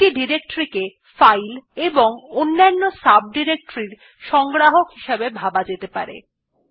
একটি ডিরেক্টরী কে ফাইল এবং অন্যান্য ডিরেক্টরিস এর সংগ্রাহক হিসেবে ভাবা যেতে পারে